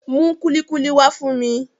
Mú kúlíkúlí wá fún mi